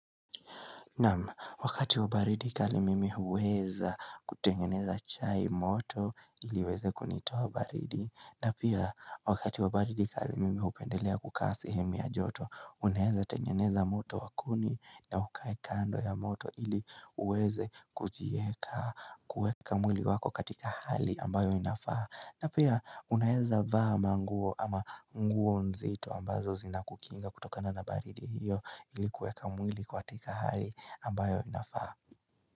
Nam, wakati wabaridi kari mimi uweza kutengeneza chai moto iliweze kunitoa baridi. Na pia wakati wabaridi kari mimi upendelea kukaa sehemu yajoto, unaeza tengeneza moto wakuni na ukae kando ya moto ili uweze kujieka kueka mwili wako katika hali ambayo inafaa. Na pia uneeza vaa manguo ama nguo nzito ambazo zina kukinga kutokana na baridi hiyo ili kueka mwili kwa atika hali. Ambayo inafaa.